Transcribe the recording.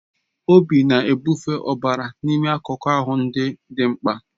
Obi na-ebufe ọbara n'ime akụkụ ahụ ndị dị mkpa